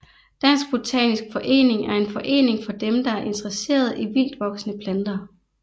Dansk Botanisk Forening er en forening for dem der er interesserede i vildtvoksende planter